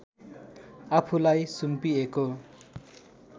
आफूलाई सुम्पिएको